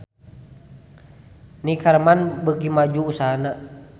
Neckerman beuki maju usahana